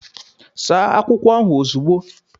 Saa akwụkwọ ahụ ozugbo!